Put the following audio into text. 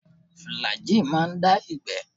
Fìlàgíì má ń dá ìgbẹ́.